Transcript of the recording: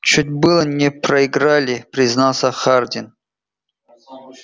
чуть было не проиграли признался хардин